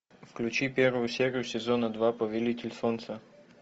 включи первую серию сезона два повелитель солнца